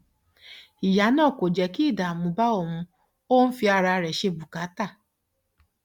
ìyá náà kò jẹ kí ìdààmú bá òun ó ń fi ara rẹ ṣe bùkátà